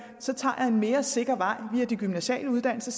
så tager jeg en mere sikker vej via de gymnasiale uddannelser